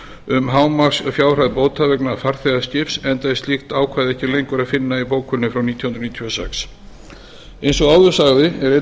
um hámarksfjárhæð bóta vegna farþegaskips enda er slíkt ákvæði ekki lengur að finna í bókuninni frá nítján hundruð níutíu og sex eins og áður sagði er einnig